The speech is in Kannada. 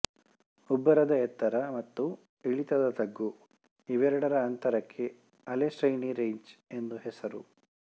ಉಬ್ಬರದ ಎತ್ತರ ಮತ್ತು ಇಳಿತದ ತಗ್ಗು ಇವೆರಡರ ಅಂತರಕ್ಕೆ ಅಲೆಶ್ರೇಣಿ ರೇಂಜ್ ಎಂದು ಹೆಸರು